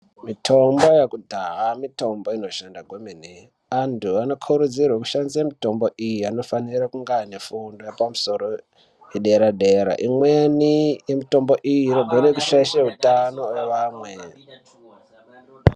Mitombo yekudhaya mitombo inoshanda kwemene antu anokurudzirwa kushandisa mitombo iyi anofira kunge anefundo yepamusoro yedera dera imweni mitombo iyi inogona kushaisha utano hweamwe.